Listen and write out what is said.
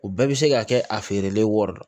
U bɛɛ bɛ se ka kɛ a feerelen wari don